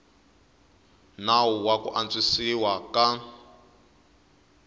nawu wa ku antswisiwa ka